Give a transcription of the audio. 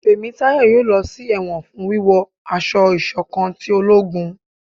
Temitayo yóò lọ sí ẹwọn fún wíwo aṣọ ìṣọ̀kan tí ológún